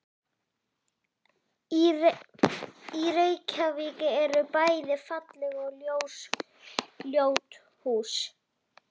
Í Reykjavík eru bæði falleg og ljót hús.